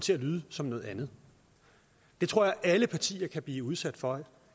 til at lyde som noget andet det tror jeg alle partier kan blive udsat for